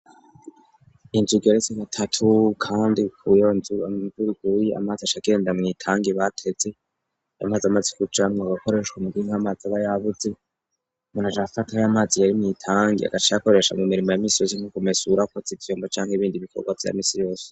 Injigi aretse gatatu, kandi kuyonzur avirguyi amazi ashagenda mwitangi bateze yamaze amazi kucamwa agakoreshwa muginke amazi aba yavuze muna jafata y' amazi yari nitangie agac yakoresha mu mirimo ya misozi nk'ukumesurakoza izyomba canke ibindi bikorwa vya misi yose.